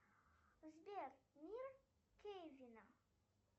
сбер мир кевина